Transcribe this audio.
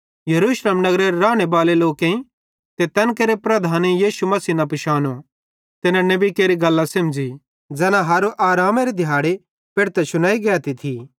यरूशलेम नगरेरे रानेबाले लोकेईं ते तैन केरे प्रधानेईं यीशु मसीह न पिशानो ते न नेबी केरि गल्लां सेमझ़ी ज़ैना हर आरामेरे दिहाड़े पेढ़तां शुनेई गैती थी